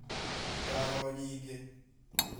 Ngatho nyingĩ